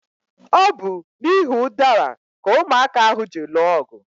Ọ bu n'ihi udara ka ụmụaka ahụ ji lụọ ọgụ